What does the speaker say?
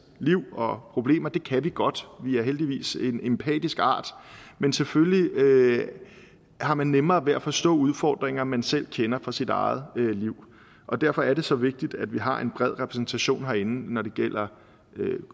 liv og problemer det kan vi godt vi er heldigvis en empatisk art men selvfølgelig har man nemmere ved at forstå udfordringer man selv kender fra sit eget liv og derfor er det så vigtigt at vi har en bred repræsentation herinde når det gælder